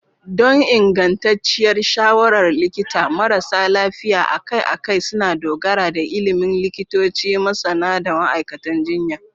Don ingantacciyar shawarar likita, marasa lafiya akai-akai suna dogara da ilimin likitoci, masana, da ma'aikatan jinya.